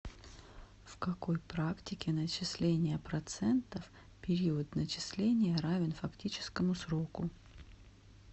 в какой практике начисления процентов период начисления равен фактическому сроку